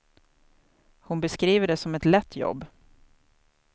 Hon beskriver det som ett lätt jobb.